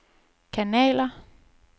kanaler